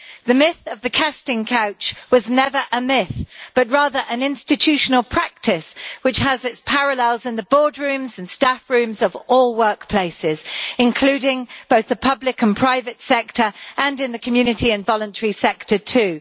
The myth of the casting couch was never a myth, but rather an institutional practice which has its parallels in the boardrooms and staff rooms of all workplaces, including both the public and private sector and in the community and voluntary sector too.